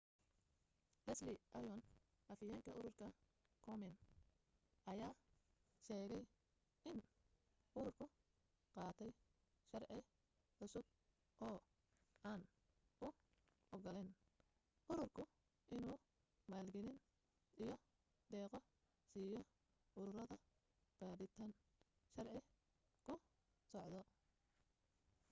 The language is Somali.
leslie aun afhayeenka ururka komen ayaa sheegay in ururku qaatay sharci cusub oo aan u ogolaanayn ururku inuu maalgelin iyo deeqo siiyo ururada baadhitaan sharci ku socdo